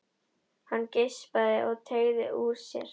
Hann geispaði og teygði úr sér.